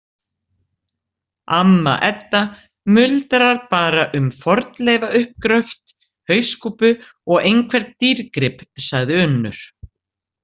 Amma Edda muldrar bara um fornleifauppgröft, hauskúpu og einhvern dýrgrip, sagði Unnur.